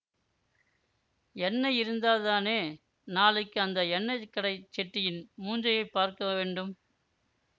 எண்ணை இருந்தால்தானே நாளைக்கு அந்த எண்ணை கடைச் செட்டியின் மூஞ்சியைப் பார்க்கவேண்டும்